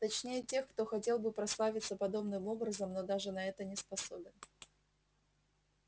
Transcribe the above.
точнее тех кто хотел бы прославиться подобным образом но даже на это не способен